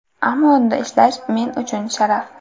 Ammo unda ishlash men uchun sharaf.